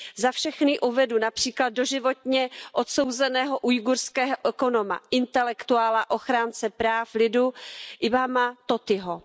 Za všechny uvedu například doživotně odsouzeného ujgurského ekonoma, intelektuála, ochránce práv lidu Ilhama Tohtiho.